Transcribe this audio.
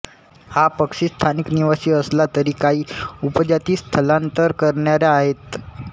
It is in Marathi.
हा पक्षी स्थानिक निवासी असला तरी काही उपजाती स्थलांतर करणाऱ्या आहेत